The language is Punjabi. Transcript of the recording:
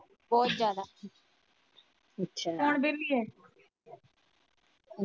ਬਹੁਤ ਜਿਆਦਾ